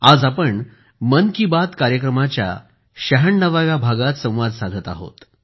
आज आपण मन की बात कार्यक्रमाच्या शहाण्णव्या भागात संवाद साधत आहोत